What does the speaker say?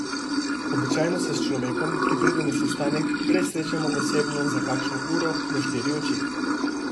Običajno se s človekom, ki pride na sestanek, prej srečamo osebno za kakšno uro, na štiri oči.